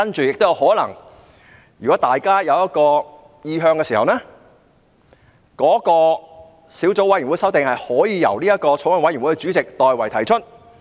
如果大家有意向時，小組委員會的修訂可以由法案委員會主席代為提出。